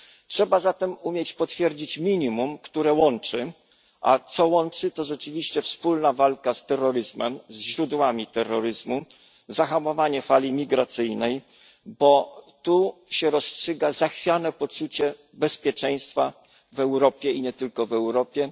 Trzeba zatem umieć potwierdzić minimum, które łączy, a co łączy to rzeczywiście wspólna walka z terroryzmem, ze źródłami terroryzmu, zahamowanie fali migracyjnej, bo tu się rozstrzyga zachwiane poczucie bezpieczeństwa w Europie i nie tylko w Europie.